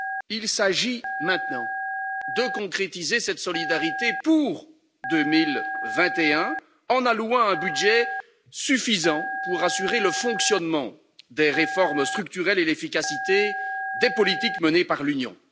Il s'agit maintenant de concrétiser cette solidarité pour 2021 en allouant un budget suffisant pour assurer le fonctionnement des réformes structurelles et l'efficacité des politiques menées par l'Union.